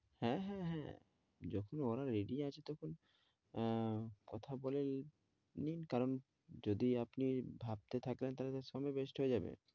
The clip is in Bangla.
হ্যাঁ, হ্যাঁ, হ্যাঁ, যখন ওরা ready আছে তখন আহ কথা বলে নিন কারণ যদি আপনি ভাবতে থাকেন তাহলে তো সময় waste হয়ে যাবে।